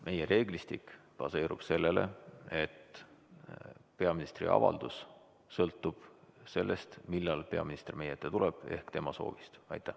Meie reeglistik baseerub sellel, et peaministri avaldus sõltub sellest, millal peaminister meie ette tuleb, ehk tema soovist.